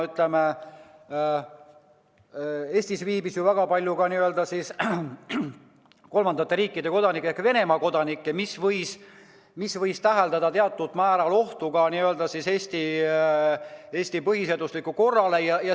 Eestis oli ju väga palju ka n-ö kolmandate riikide kodanikke ehk põhiliselt Venemaa kodanikke, mis võis tähendada teatud määral ohtu Eesti põhiseaduslikule korrale.